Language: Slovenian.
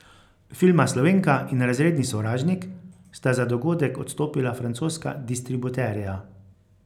Filma Slovenka in Razredni sovražnik sta za dogodek odstopila francoska distributerja.